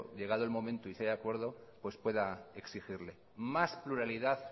llegado el momento y si hay acuerdo pues pueda exigirle más pluralidad